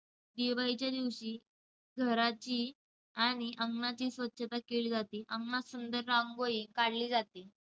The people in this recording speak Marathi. दिवाळीच्या दिवशी घराची आणि अंगणाची स्वच्छता केली जाते. अंगणात सुंदर रांगोळी काढली जाते.